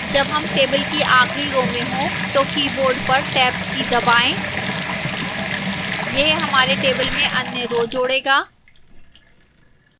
जब हम table की आखिरी row में हों तो keyboard पर tab की दबाएं यह हमारे table में अन्य row जोड़ेगा